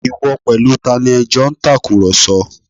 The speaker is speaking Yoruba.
Ìwọ pẹ̀lú tani ẹ jọ ń tàkùrọ̀sọ